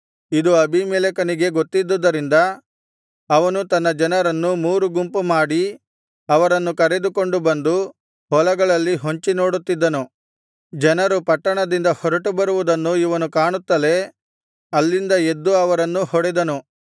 ಇದು ಅಬೀಮೆಲೆಕನಿಗೆ ಗೊತ್ತಿದ್ದುದರಿಂದ ಅವನು ತನ್ನ ಜನರನ್ನು ಮೂರು ಗುಂಪು ಮಾಡಿ ಅವರನ್ನು ಕರೆದುಕೊಂಡು ಬಂದು ಹೊಲಗಳಲ್ಲಿ ಹೊಂಚಿ ನೋಡುತ್ತಿದ್ದನು ಜನರು ಪಟ್ಟಣದಿಂದ ಹೊರಟು ಬರುವುದನ್ನು ಇವನು ಕಾಣುತ್ತಲೇ ಅಲ್ಲಿಂದ ಎದ್ದು ಅವರನ್ನು ಹೊಡೆದನು